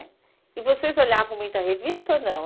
E vocês olhavam muita revista ou não?